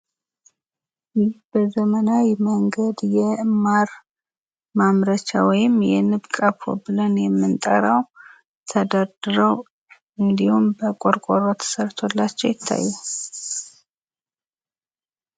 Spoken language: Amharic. ይህ በዘመናዊ መንገድ የማር ማምረቻ ወይም የንብ ቀፎ ብለን የምንጠራው ተደርድሮ እንድሁም በቆርቆሮ ተሰርቶላቸው ይታያል።